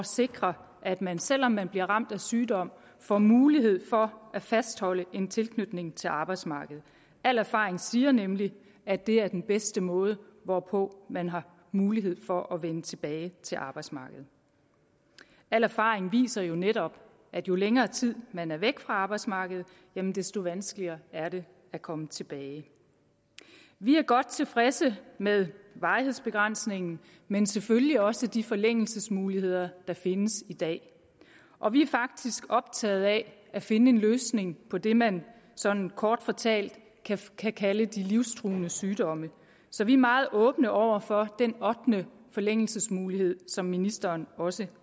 sikre at man selv om man bliver ramt af sygdom får mulighed for at fastholde en tilknytning til arbejdsmarkedet al erfaring siger nemlig at det er den bedste måde hvorpå man har mulighed for at vende tilbage til arbejdsmarkedet al erfaring viser jo netop at jo længere tid man er væk fra arbejdsmarkedet desto vanskeligere er det at komme tilbage vi er godt tilfredse med varighedsbegrænsningen men selvfølgelig også de forlængelsesmuligheder der findes i dag og vi er faktisk optaget af at finde en løsning på det man sådan kort fortalt kan kalde de livstruende sygdomme så vi er meget åbne over for den ottende forlængelsesmulighed som ministeren også